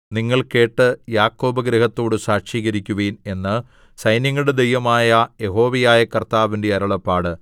നിങ്ങൾ കേട്ട് യാക്കോബ് ഗൃഹത്തോട് സാക്ഷീകരിക്കുവിൻ എന്ന് സൈന്യങ്ങളുടെ ദൈവമായ യഹോവയായ കർത്താവിന്റെ അരുളപ്പാട്